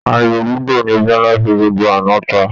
Àyò lúdò ni Biọ́lá fi gbogbo àná ta